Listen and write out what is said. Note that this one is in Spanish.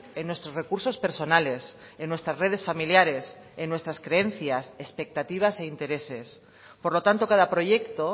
en nuestros recursos personales en nuestras redes familiares en nuestras creencias expectativas e intereses por lo tanto cada proyecto